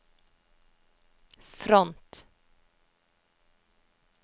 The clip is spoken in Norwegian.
front